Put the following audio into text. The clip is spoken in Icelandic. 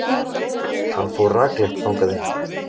Hann fór rakleitt þangað inn.